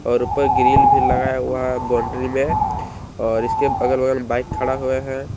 और ऊपर ग्रिल भी लगाया हुआ बाउंड्री में और इसके अगल बगल मे बाइक खड़ा हुए है।